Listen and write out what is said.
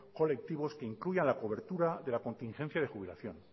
colectivos que incluya la cobertura de la contingencia de jubilación